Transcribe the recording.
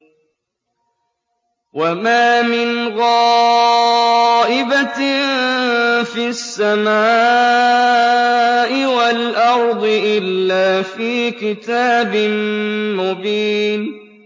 وَمَا مِنْ غَائِبَةٍ فِي السَّمَاءِ وَالْأَرْضِ إِلَّا فِي كِتَابٍ مُّبِينٍ